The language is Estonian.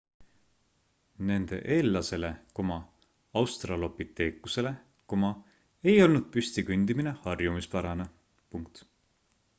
nende eellasele australopiteekusele ei olnud püsti kõndimine harjumuspärane